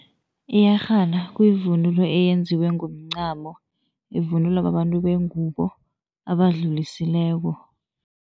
Iyerhana kuyivunulo eyenziwe ngomncamo, ivunulwa babantu bengubo abadlulisileko.